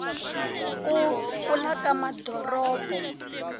ku kula ka madoropo